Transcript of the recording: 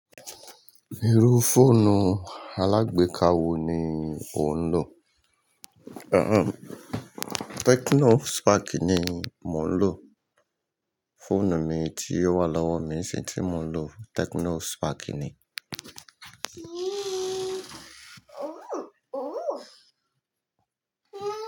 Irú fóònù alágbéka wo ni ò ń lò? Àhn, Tecno Spark ni mo ń lò. Fóònù mi ti o wà lọ́wọ́ mi nsin, tí mo ń lo Tecno Spark ni?